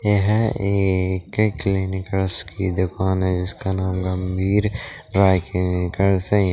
यह एक क्लीनीकर्स की दुकान है जिसका नाम गंभीर